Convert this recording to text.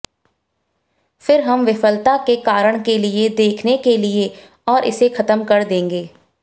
फिर हम विफलता के कारण के लिए देखने के लिए और इसे खत्म कर देंगे